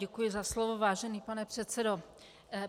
Děkuji za slovo, vážený pane předsedo.